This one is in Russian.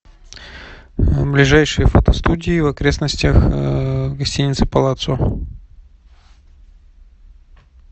ближайшие фотостудии в окрестностях гостиницы палацио